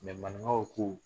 manigaw ko